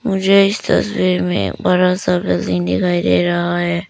मुझे इस तस्वीर में बड़ा सा बिल्डिंग दिखाई दे रहा है।